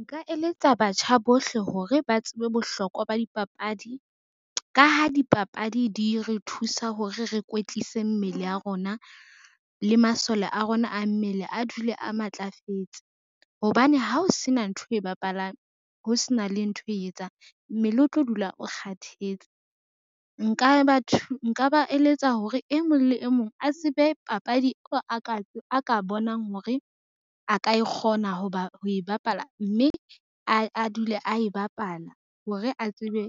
Nka eletsa batjha bohle hore ba tsebe bohlokwa ba dipapadi, ka ha dipapadi di re thusa hore re kwetlise mmele ya rona le masole a rona a mmele a dule a matlafetse. Hobane ha o se na ntho e bapalang, ho se na le ntho e etsang mmele o tlo dula o kgathetse. Nka ba eletsa hore e mong le e mong a tsebe papadi a ka bonang hore a ka kgona ho e bapala mme a dule a e bapala hore a tsebe